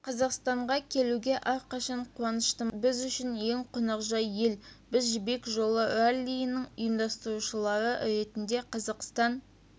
қазақстанға келуге әрқашан қуаныштымыз біз үшін ең қонақжай ел біз жібек жолы раллийінің ұйымдастырушылары ретінде қазақстан